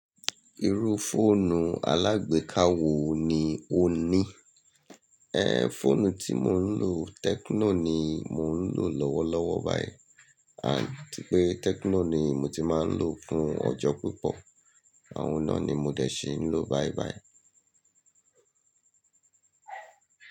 Irú fóònù alágbéka wo ni o ní? Ẹ̀, fóònù tí mò ń lò, Tecno ni mò ń lò lọ́wọ́lọ́wọ́ báyìí. Àti pé Tecno ni mo ti máa ń lò fún ọjọ́ púpọ̀, àwọn náà ni mo dẹ̀ ṣe ń lò báibái.